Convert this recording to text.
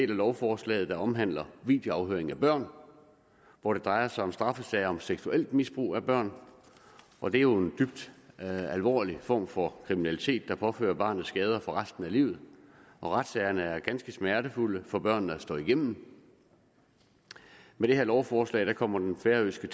lovforslaget der omhandler videoafhøring af børn hvor det drejer sig om straffesager om seksuelt misbrug af børn og det er jo en dybt alvorlig form for kriminalitet der påfører barnet skader for resten af livet og retssagerne er ganske smertefulde for børnene at stå igennem med det her lovforslag kommer den færøske